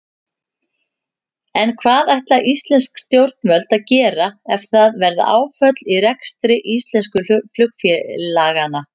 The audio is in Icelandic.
En hvað ætla íslensk stjórnvöld að gera ef það verða áföll í rekstri íslensku flugfélaganna?